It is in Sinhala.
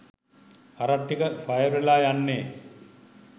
හරක් ටික ෆයර් වෙලා යන්නේ